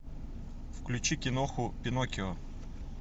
включи киноху пиноккио